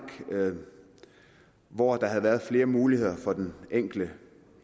hvor der havde været flere muligheder for den enkelte